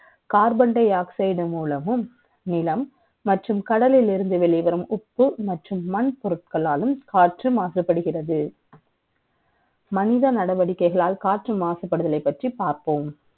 Carbon dioxide மூலமும் நிலம் மற்றும் கடலில் இருந்து வெளிவரும் ஒப்பு மற்றும் மண் பொருட்களாலும் காற்று மாசுபடுகிறது மனித நடவடிக்கைகளால் காற்று மாசுபடுதலை பற்றி பார்ப்போம்